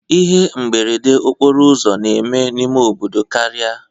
Ihe mberede okporo ụzọ na-eme n'ime obodo karịa